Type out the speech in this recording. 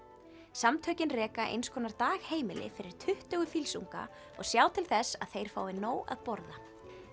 samtökin reka einskonar dagheimili fyrir tuttugu og sjá til þess að þeir fái nóg að borða